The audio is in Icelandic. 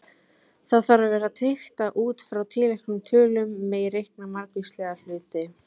Það þarf að vera tryggt að út frá tilteknum tölum megi reikna margvíslega hluti.